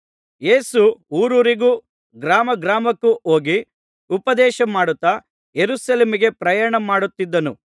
ಯೇಸು ಊರೂರಿಗೂ ಗ್ರಾಮ ಗ್ರಾಮಕ್ಕೂ ಹೋಗಿ ಉಪದೇಶ ಮಾಡುತ್ತಾ ಯೆರೂಸಲೇಮಿಗೆ ಪ್ರಯಾಣ ಮಾಡುತ್ತಿದ್ದನು